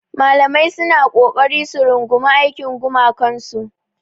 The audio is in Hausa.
Malamai suna ƙoƙari su rungumi aikin gumakansu.